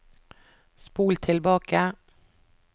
spol tilbake